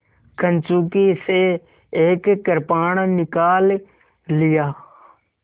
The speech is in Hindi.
कंचुकी से एक कृपाण निकाल लिया